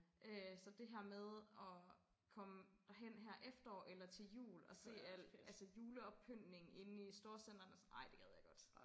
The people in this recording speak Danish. Øh så det her med og komme derhen her efterår eller til jul og se alt juleoppyntningen inde i storcentrene og sådan ej det gad jeg godt